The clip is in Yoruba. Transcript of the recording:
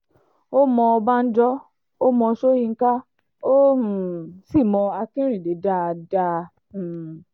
ó mọ ọbànjọ́ ó mọ sọ́yńkà ó um sì mọ akínrínnádé dáadáa um